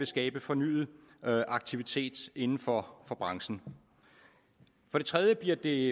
skabe fornyet aktivitet inden for branchen for det tredje bliver det